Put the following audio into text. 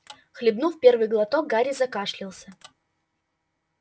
хлебнув первый глоток гарри закашлялся